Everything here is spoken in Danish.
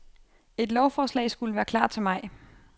Et lovforslag skulle være klar til maj.